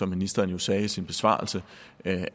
ministeren jo sagde i sin besvarelse